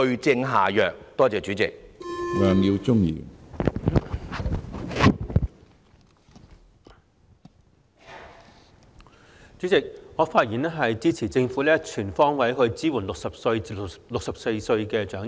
主席，我發言支持政府全方位支援60歲至64歲長者。